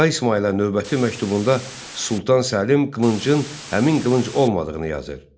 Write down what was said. Şah İsmayıla növbəti məktubunda Sultan Səlim qılıncın həmin qılınc olmadığını yazır.